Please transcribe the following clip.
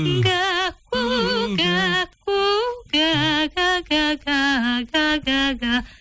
гәкку гәкку гә гә гә